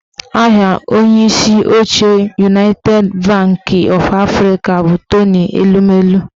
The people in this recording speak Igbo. Aha onyeisi oche Unaited banki ọf Afrịka bụ Tony Elumelu